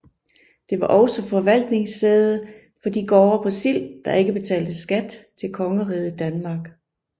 Det var også forvaltningssæde for de gårde på Sild der ikke betalte skat til Kongeriget Danmark